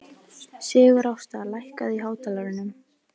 Sigurásta, lækkaðu í hátalaranum.